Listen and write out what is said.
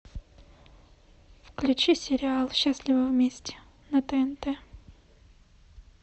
включи сериал счастливы вместе на тнт